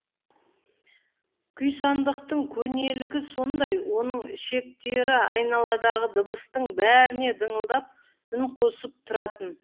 күйсандықтың көнелігі сондай оның ішектері айналадағы дыбыстың бәріне дыңылдап үн қосып тұратын